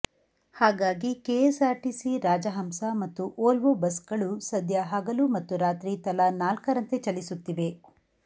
ಹಾಗಾಗಿ ಕೆಎಸ್ಸಾರ್ಟಿಸಿ ರಾಜಹಂಸ ಮತ್ತು ವೋಲ್ವೊ ಬಸ್ಗಳು ಸದ್ಯ ಹಗಲು ಮತ್ತು ರಾತ್ರಿ ತಲಾ ನಾಲ್ಕರಂತೆ ಚಲಿಸುತ್ತಿವೆ